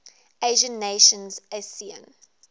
asian nations asean